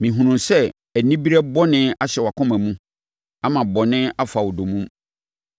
Mehunu sɛ anibereɛ bɔne ahyɛ wʼakoma mu ama bɔne afa wo dommum.”